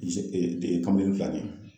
I z kamalen dilannen